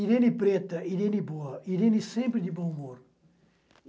Irene Preta, Irene Boa, Irene sempre de bom humor.